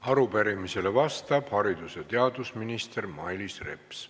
Arupärimisele vastab haridus- ja teadusminister Mailis Reps.